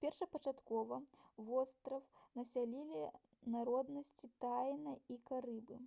першапачаткова востраў насялялі народнасці таіна і карыбы